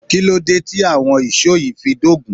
Kíló dé tí àwọn ìṣó yìí fi dógun?